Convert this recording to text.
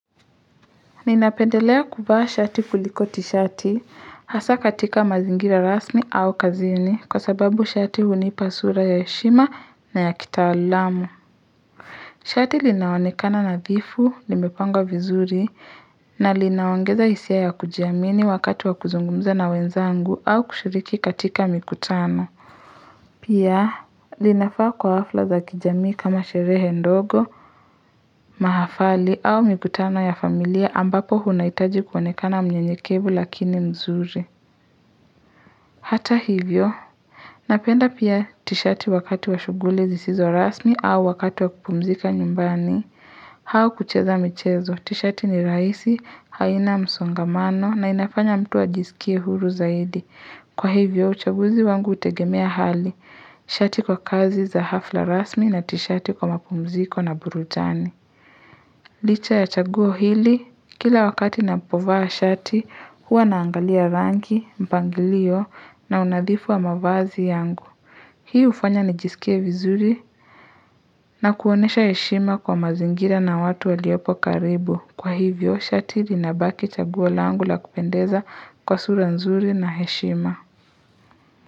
Ninapendelea kuvaa shati kuliko ti shati hasa katika mazingira rasmi au kazini kwa sababu shati hunipa sura ya heshima na ya kitaalamu Shati linaonekana nadhifu, nimepanga vizuri na linaongeza hisia ya kujiamini wakati wa kuzungumza na wenzangu au kushiriki katika mikutano Pia, linafaa kwa hafla za kijamii kama sherehe ndogo, mahafali au mikutano ya familia ambapo unahitaji kuonekana mnyenyekevu lakini mzuri. Hata hivyo, napenda pia tishati wakati wa shughuli zisizo rasmi au wakati wa kupumzika nyumbani. Au kucheza michezo, tishati ni rahisi, haina msongamano na inafanya mtu a jisikie huru zaidi. Kwa hivyo, uchaguzi wangu utegemea hali, shati kwa kazi za hafla rasmi na tishati kwa mapumziko na burudani. Licha ya chaguo hili, kila wakati napovaa shati, huwa naangalia rangi, mpangilio na unadhifu wa mavazi yangu. Hii ufanya nijisikia vizuri na kuonesha heshima kwa mazingira na watu waliopo karibu. Kwa hivyo, shati linabaki chaguo langu la kupendeza kwa sura nzuri na heshima.